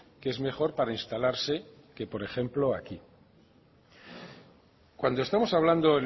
que es mejor para instalarse que por ejemplo aquí cuando estamos hablando